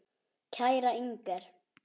Kæra Inger.